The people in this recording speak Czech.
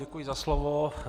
Děkuji za slovo.